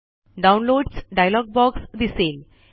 downloads dialog box दिसेल